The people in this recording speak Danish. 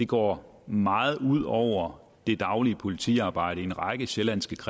går meget ud over det daglige politiarbejde i en række sjællandske